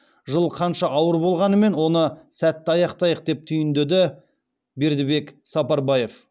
жыл қанша ауыр болғанымен оны сәтті аяқтайық деп түйіндеді бердібек сапарбаев